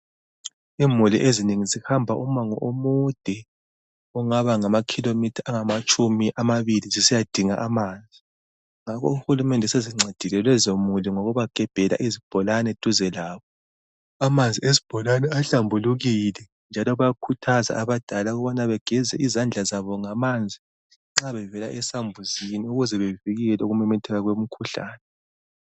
imuli ezinengi zihamba umango omude ongaba ngamakhilomitha amabili esiyadinga amanzi uhulumende usencedile lezo muli ngokubagebhela isibholani duze labo , amanzi esibholane ahlambulekile njalo bayakhuthaza abantu ukuthi begeze izandla zabo ngamanzi nxabevela esambuzini ukuze bevikelwe okumemethekeleni komukhuhlane